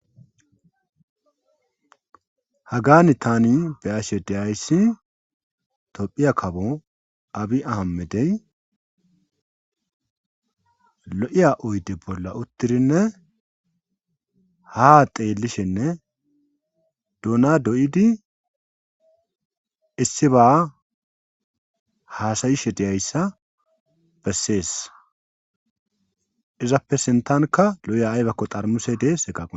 Hagaani tani be ashe deyayssi tophiya kabo abi ahamedey lo'iya oyde bolla uttirinne ha xeelishenne duuna do'idi issi ba haasayishe deyayssa bessees izappe sintanka lo'iya aybakko xarmuse dees eqa.